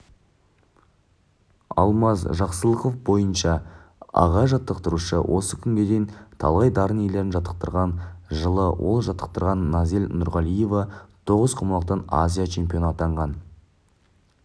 алмаз жақсылықов бойынша аға жаттықтырушы осы күнге дейін талай дарын иелерін жаттықтырған жылы ол жаттықтырған назель нұрғалиева тоғызқұмалақтан азия чемпионы атанған